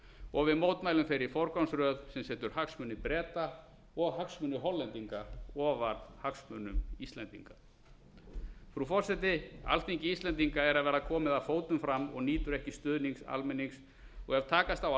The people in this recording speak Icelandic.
og við mótmælum þeirri forgangsröð sem setur hagsmuni breta og hagsmuni hollendinga ofar hagsmunum íslendinga frú forseti alþingi íslendinga er að verða komið að fótum fram og nýtur ekki stuðnings almennings og ef takast á að